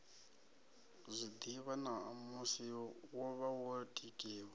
zwiḓivha ṋamusi wovha wo tikiwa